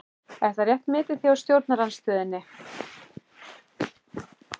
Er það rétt metið hjá stjórnarandstöðunni?